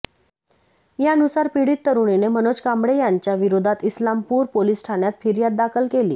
यानुसार पीडित तरुणीने मनोज कांबळे यांच्या विरोधात इस्लामपूर पोलिस ठाण्यात फिर्याद दाखल केली